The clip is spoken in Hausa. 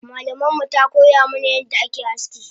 Malamanmu takoya mana yadda ake aski